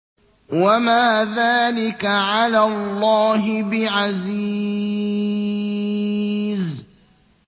وَمَا ذَٰلِكَ عَلَى اللَّهِ بِعَزِيزٍ